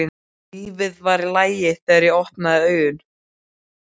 Lífið var í lagi þegar ég opnaði augun.